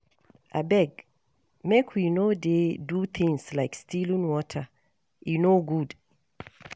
Abeg make we no dey do things like stealing water, e no good